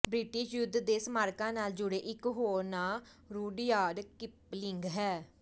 British ਯੁੱਧ ਦੇ ਸਮਾਰਕਾਂ ਨਾਲ ਜੁੜੇ ਇਕ ਹੋਰ ਨਾਂ ਰੂਡਯਾਰਡ ਕਿਪਲਿੰਗ ਹੈ